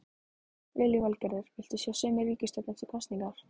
Lillý Valgerður: Vilt þú sjá sömu ríkisstjórn eftir kosningar?